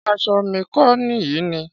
Ṣé aṣọ mi kọ nìyí ni?